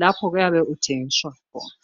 lapho oyabe uthengiswa khona.